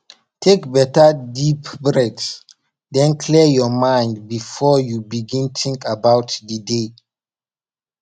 take beta deep breathe den clear yur mind bifor yu begin tink about di day